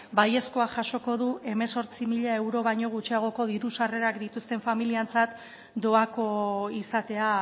baiezko jasoko du hemezortzi mila euro baino gutxiagoko diru sarrerak dituzten familientzat doako izatea